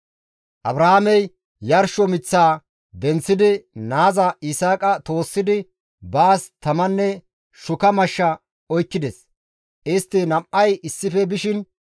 Abrahaamey yarsho miththaa denththidi naaza Yisaaqa toossidi baas tamanne shuka mashsha oykkides; istti nam7ay issife bishin,